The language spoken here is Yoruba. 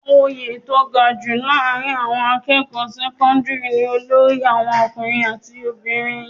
Oyè tó ga jù láàárín àwọn akẹ́kọ̀ọ́ sẹ́kọ́ńdírì ni olórí àwọn ọkùnrin àti obìnrin.